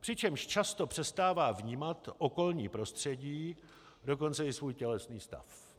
přičemž často přestává vnímat okolní prostředí, dokonce i svůj tělesný stav.